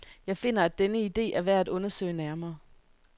Jeg finder, at denne ide er værd at undersøge nærmere.